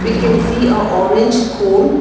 We can see a orange cone.